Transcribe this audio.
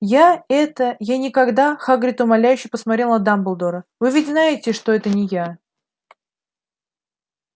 я это я никогда хагрид умоляюще посмотрел на дамблдора вы ведь знаете что это не я